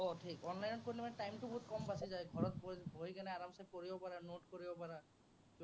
আহ online ত কৰিলে মানে time টো বহুত কম লাগি যায়। ঘৰত বহি কিনে আৰমাচে কৰিব পাৰা notes কৰিব পাৰা।